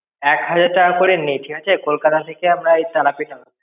এক হাজার টাকা করে নি ঠিক আছে কলকাতা থেকে আমরা এই তারাপীঠ আসার.